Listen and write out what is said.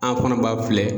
An fana b'a filɛ